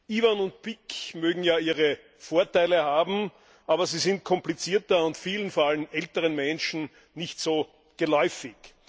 IBAN und BIC mögen ja ihre Vorteile haben, aber sie sind komplizierter und vielen, vor allem älteren Menschen, nicht so geläufig.